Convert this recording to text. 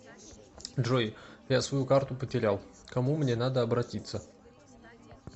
джой я свою карту потерял кому мне надо обратиться